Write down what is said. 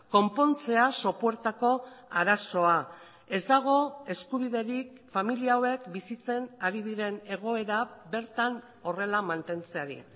konpontzea sopuertako arazoa ez dago eskubiderik familia hauek bizitzen ari diren egoera bertan horrela mantentzeari